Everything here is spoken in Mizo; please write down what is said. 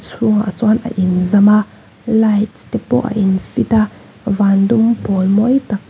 chhungah chuan a inzam a lights te pawh a in fit a van dum pawl mawi tak.